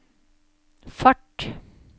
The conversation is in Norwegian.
fart